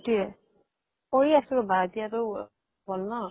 সেইতোয়ে কৰি আছো ৰবা এতিয়া টো হল ন।